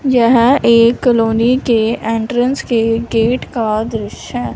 यह एक कॉलोनी के एंट्रेंस के गेट का दृश्य है।